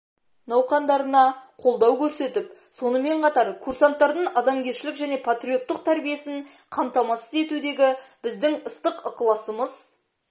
науқандарына қолдау көрсетіп сонымен қатар курсанттардың адамгершілік және патриоттық тәрбиесін қамтамасыз етудегі біздің ыстық ықыласымыз